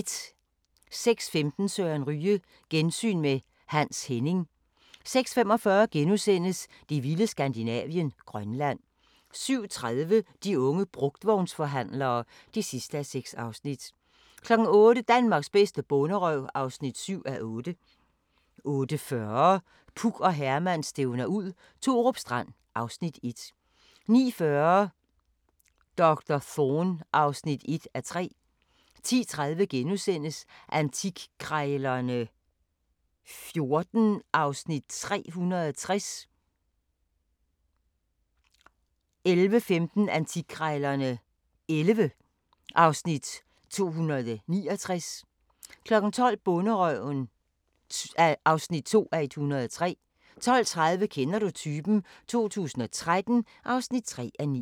06:15: Søren Ryge: Gensyn med Hans Henning 06:45: Det vilde Skandinavien – Grønland * 07:30: De unge brugtvognsforhandlere (6:6) 08:00: Danmarks bedste bonderøv (7:8) 08:40: Puk og Herman stævner ud – Thorup Strand (Afs. 1) 09:40: Doktor Thorne (1:3) 10:30: Antikkrejlerne XIV (Afs. 360)* 11:15: Antikkrejlerne XI (Afs. 269) 12:00: Bonderøven (2:103) 12:30: Kender du typen? 2013 (3:9)